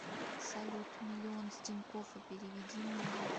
салют миллион с тинькоффа переведи мужу